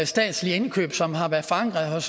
statslige indkøb som har været forankret